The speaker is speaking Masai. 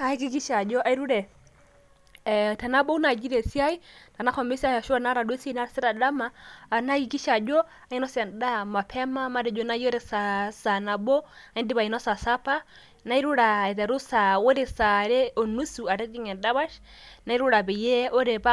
Ahakikisha ajo airure ee tenabau naji te siai, tenahomo esiai ashu tenaata duo esiai naasita dama anaa ahakikisha ajo ainosa endaa mapema matejo naji ore saa nabo aidipa ainosa sapa .nairura aiteru sa ore sa are onusu atijinga endapash nairura peyie